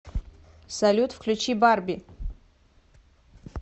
салют включи барби